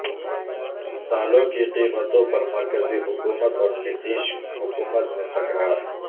دالوں کی قیمتوں پر مرکزی حکومت اور نتیش حکومت میں تکرار